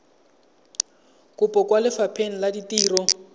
kopo kwa lefapheng la ditiro